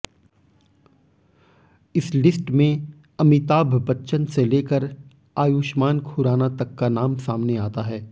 इस लिस्ट में आमिताभ बच्चन से लेकर आयुष्मान खुराना तक का नाम सामने आता है